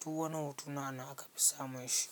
Duk wani hotuna anan aka fi samun shi.